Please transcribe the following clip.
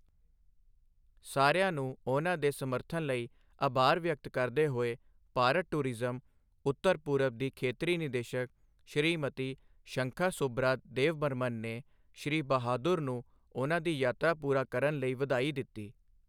ਸਾਰਿਆਂ ਨੂੰ ਉਨ੍ਹਾਂ ਦੇ ਸਮਰਥਨ ਲਈ ਆਭਾਰ ਵਿਅਕਤ ਕਰਦੇ ਹੋਏ ਭਾਰਤ ਟੂਰਿਜ਼ਮ, ਉੱਤਰ ਪੂਰਬ ਦੀ ਖੇਤਰੀ ਨਿਰਦੇਸ਼ਕ ਸ਼੍ਰੀਮਤੀ ਸ਼ੰਖਾ ਸੁਭ੍ਰਾ ਦੇਵਬਰਮਨ ਨੇ ਸ਼੍ਰੀ ਬਹਾਦੁਰ ਨੂੰ ਉਨ੍ਹਾਂ ਦੀ ਯਾਤਰਾ ਪੂਰਾ ਕਰਨ ਲਈ ਵਧਾਈ ਦਿੱਤੀ।